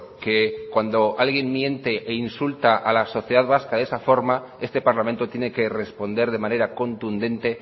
que cuando alguien miente e insulta a la sociedad vasca de esa forma este parlamento tiene que responder de manera contundente